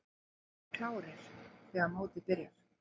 Við verðum klárir þegar mótið byrjar.